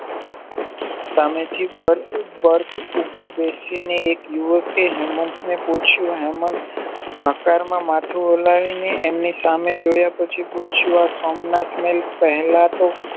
સામેથી birth ઉપર બેસીને હેબ યુવકે હેમંતને પૂછ્યું હેમાંહ હકારમાં માથું હલાવી ને એમની સામે જોયા પછી પૂછ્યું આ સોમનાથ પહેલાતો